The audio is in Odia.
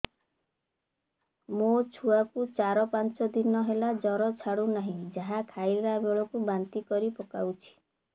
ମୋ ଛୁଆ କୁ ଚାର ପାଞ୍ଚ ଦିନ ହେଲା ଜର ଛାଡୁ ନାହିଁ ଯାହା ଖାଇଲା ବେଳକୁ ବାନ୍ତି କରି ପକଉଛି